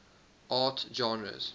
art genres